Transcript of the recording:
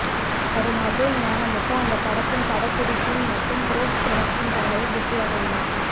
வரும் அஜய்ஞானமுத்து அந்த படத்தின் படப்பிடிப்பு மட்டும் போஸ்ட் புரொடக்ஷன் பணிகளில் பிஸியாக உள்ளார்